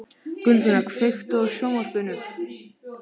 Gunnfinna, kveiktu á sjónvarpinu.